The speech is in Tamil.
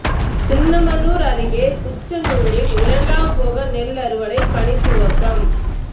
சின்னமனூர் அருகே குச்சனூரில் இரண்டாம் போக நெல் அறுவடை பணி துவக்கம்